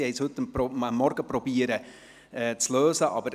Dieses wurde heute Morgen zu lösen versucht.